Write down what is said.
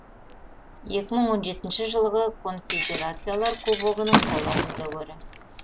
екі мың он жетінші жылғы конфедерациялар кубогының қола жүлдегері